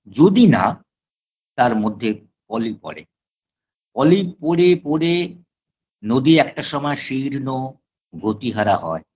যদি না তার মধ্যে পলি পরে পলি পরে পরে নদী একটা সময় শীর্ণ গতিহারা হয়